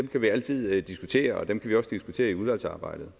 kan vi altid diskutere og dem kan vi også diskutere i udvalgsarbejdet